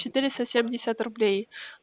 четыреста семьдесят рублей